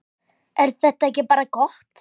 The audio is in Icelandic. Er þetta ekki bara gott?